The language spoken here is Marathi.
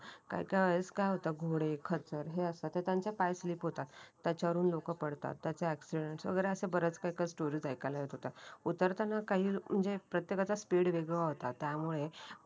काही काही वेळेस काय होतं घोडे खचर हे अस ते त्यांचा पाय स्लीप होतात त्याच्यावरून लोकं पडतात. त्यांचा एक्सीडेंट वैगेरे बऱ्याच काही काही अशा कस स्टोरी ऐकायला येत होते. उतरताना काही म्हणजे प्रत्येकाचा स्पीड वेगळा होता. त्यामुळे